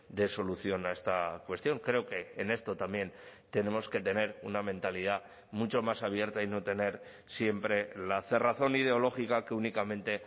dé solución a esta cuestión creo que en esto también tenemos que tener una mentalidad mucho más abierta y no tener siempre la cerrazón ideológica que únicamente